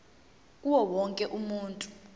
kuwo wonke umuntu